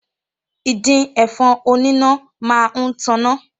Ìdin ẹ̀fọn oníná máa ń taná